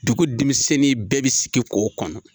Dugu denmisɛnnin bɛɛ bɛ sigi k'o kɔnɔ.